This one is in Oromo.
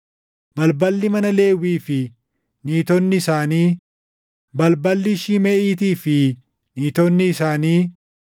balballi mana Lewwii fi niitonni isaanii, balballi Shimeʼiitii fi niitonni isaanii,